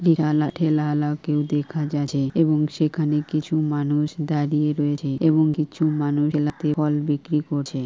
বিরা ওয়ালা ঠেলা ওয়ালা কেও দেখা যাচ্ছে এবং সেখানে কিছু মানুষ দাঁড়িয়ে রয়েছে এবং কিছু মানুষ ঠেলাতে ফল বিক্রি করছে।